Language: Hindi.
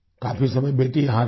काफी समय बेटी यहाँ रही